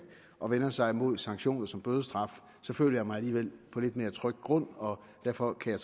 og vender sig mod sanktioner som bødestraf så føler jeg mig alligevel på lidt mere tryg grund og derfor kan